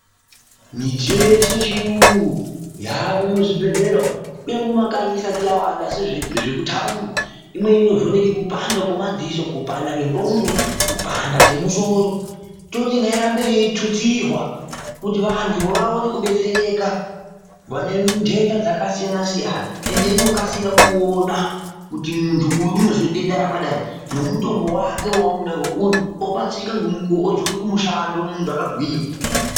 Midziyo yeshe yechiyungu, yaamwo muzvibhedhlera umwu. Kunyangwe mumakanyi isati zvemuthaundi, imweni inovheneka kupanda kwemadziso, kupana kwengqondo toti ngairambe yeitutsirwa kuti vanthu varambe veidetsereka, vane ndhendha dzakasiyana-siyana inokasika kuona kuti munthu uyu unozwa denda rakadai, ne mutombo wake weanoda ngeuyu. Odetsereka ngemukuwo, opetuka kumushando munthu akagwinya.